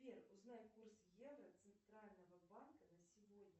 сбер узнай курс евро центрального банка на сегодня